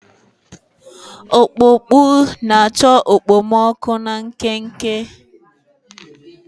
Ọkpụkpụ na-achọ okpomọkụ na nkenke.